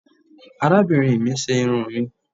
arabinrín mi ṣe irún mi